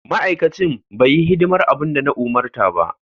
Ma'aikacin bai yi hidimar abin da na umarta ba.